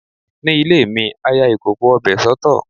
Ní ilé mi, a ya ìkòkò ọbẹ̀ soto.